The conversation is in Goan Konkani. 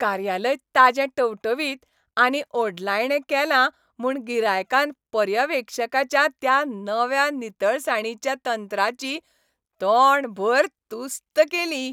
कार्यालय ताजें टवटवीत आनी ओडलायणें केलां म्हूण गिरायकान पर्यवेक्षकाच्या त्या नव्या नितळसाणीच्या तंत्राची तोंडभर तुस्त केली.